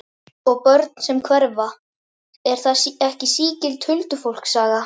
Og börn sem hverfa, er það ekki sígild huldufólkssaga?